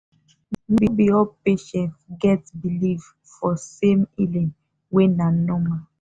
no be all patient get believe for same healing way na normal.